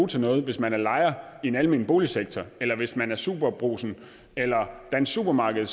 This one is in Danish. til noget hvis man er lejer i den almene boligsektor eller hvis man er superbrugsen eller dansk supermarked